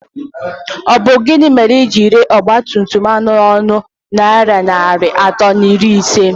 Ọ bụ gịnị mere i jiri ree ọgbatumtum ahụ n'ọnụ narị naịra atọ na iri ise?